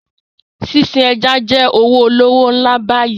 Fishery is a very lucrative business now